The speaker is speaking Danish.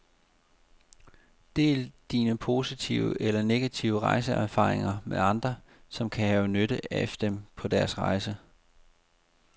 Del dine positive eller negative rejseerfaringer med andre, som kan have nytte af dem på deres rejse.